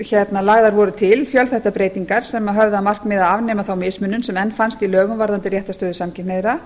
sem lagðar voru til fjölþættar breytingar sem höfðu að markmiði að afnema þá mismunun sem enn fannst í lögum varðandi réttarstöðu samkynhneigðra